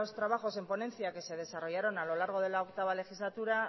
trabajos en ponencia que se desarrollaron a lo largo de la octavo legislatura